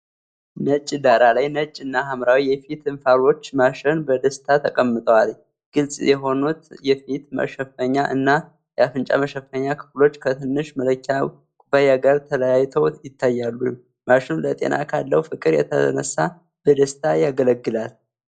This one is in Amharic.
ነጭ ዳራ ላይ ነጭ እና ሐምራዊ የፊት እንፋሎት ማሽን በደስታ ተቀምጧል። ግልጽ የሆኑት የፊት መሸፈኛ እና የአፍንጫ መሸፈኛ ክፍሎች ከትንሽ መለኪያ ኩባያ ጋር ተለያይተው ይታያሉ። ማሽኑ ለጤና ካለው ፍቅር የተነሳ በደስታ ያገለግላል።